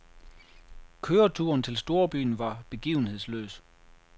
Køreturen til storbyen var begivenhedsløs.